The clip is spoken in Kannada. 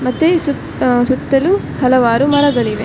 ಮತ್ತೆ ಸು ಸುತ್ತಲು ಹಲವಾರು ಮರಗಳಿವೆ .